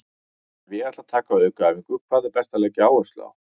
Ef ég ætla að taka aukaæfingu, hvað er best að leggja áherslu á?